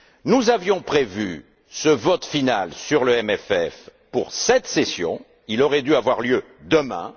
Nous avions prévu ce vote final sur le CFP pour cette session il aurait dû avoir lieu demain.